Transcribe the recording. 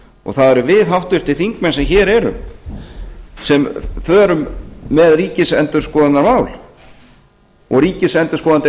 og það erum við háttvirtir þingmenn sem hér erum sem förum með ríkisendurskoðunarmál og ríkisendurskoðandi er